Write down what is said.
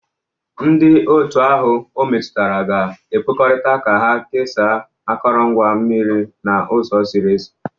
Ndị otu ahụ ometụtara ga ekwekọrịta ka ha kesaa akụrụngwa mmiri n'ụzọ ziri ezi.